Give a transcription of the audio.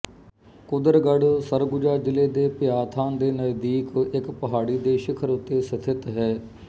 ਕੁਦਰਗੜ੍ਹ ਸਰਗੁਜਾ ਜਿਲ੍ਹੇ ਦੇ ਭਿਆਥਾਨ ਦੇ ਨਜ਼ਦੀਕ ਇੱਕ ਪਹਾੜੀ ਦੇ ਸਿਖਰ ਉੱਤੇ ਸਥਿਤ ਹੈ